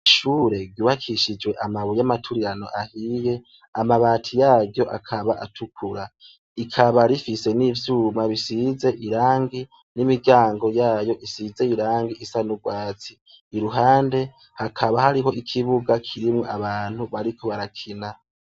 Ishure ryubakishijwe amabuye yamaturirano ahiye, amabati yaryo akaba atukura, rikaba rifise n'ivyuma bisize irangi n'imiryango yayo isize irangi isa n'ugwatsi. Iruhande hakaba hariho ikibuga kirimwo abantu bariko barakina.